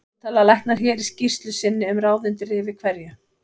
Svo tala læknar hér í skýrslu sinni um ráð undir rifi hverju